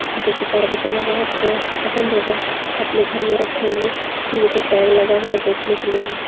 किसी को तो गिटार बजाना बहुत पसंद होगा अपने घर में रखे होंगे नहीं ये तो टैग लगा होगा बेचने के लिए ही है।